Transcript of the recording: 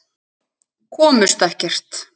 Komust ekkert.